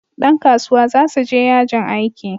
Dan kasuwa za su je yajin aiki